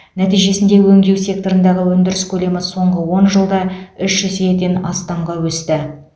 нәтижесінде өндеу секторындағы өндіріс көлемі соңғы он жылда үш еседен астамға өсті